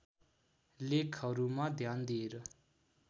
लेखहरूमा ध्यान दिएर